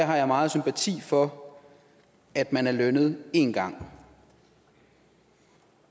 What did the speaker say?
har jeg meget sympati for at man er lønnet en gang